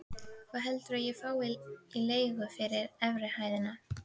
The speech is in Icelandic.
Hvað heldurðu ég fái í leigu fyrir efri hæðina?